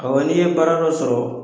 Awɔ n'i ye baara dɔ sɔrɔ